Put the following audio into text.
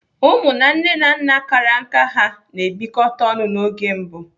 Ụmụ na nne na nna kara nká ha na-ebịkọta ọnụ n'oge mbụ.